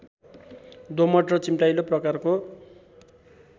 दोमट र चिम्टाइलो प्रकारको